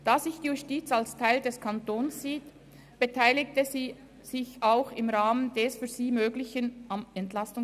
Da sich die Justiz als Teil des Kantons sieht, beteiligte sie sich auch im Rahmen des für sie Möglichen am EP 18.